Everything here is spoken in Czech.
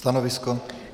Stanovisko?